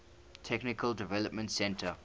technical development center